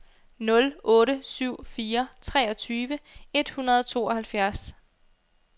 nul otte syv fire treogtyve et hundrede og tooghalvfjerds